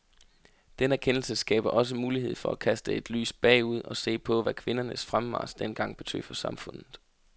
Den erkendelse skaber også mulighed for at kaste et lys bagud og se på, hvad kvindernes fremmarch dengang betød for samfundet.